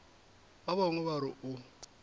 ba bangwe ba re o